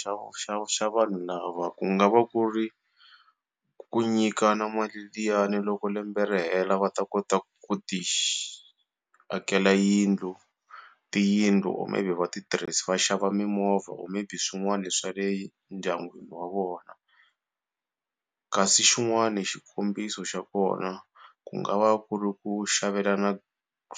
xa xa xa vanhu lava ku nga va ku ri ku nyikana mali liyani loko lembe ri hela va ta kota ku akela yindlu tiyindlu or maybe va ti va xava mimovha or maybe swin'wana swa le ndyangwini wa vona kasi xin'wana xikombiso xa kona ku nga va ku ri ku xavelana